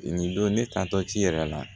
Nin don ne ta tɔ ci yɛrɛ la